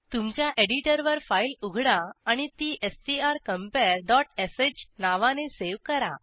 तुमच्या एडिटरवर फाईल उघडा आणि ती स्ट्रकंपेअर डॉट श नावाने सेव्ह करा